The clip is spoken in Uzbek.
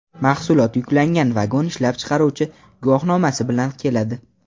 Mahsulot yuklangan vagon ishlab chiqaruvchi guvohnomasi bilan keladi.